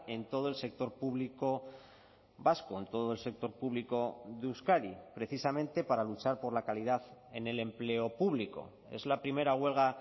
en todo el sector público vasco en todo el sector público de euskadi precisamente para luchar por la calidad en el empleo público es la primera huelga